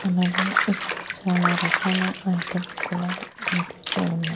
అలాగే ఇక్కడ చాలా రకాల ఐటమ్స్ కూడా కనిపిస్తూ ఉన్నాయ్.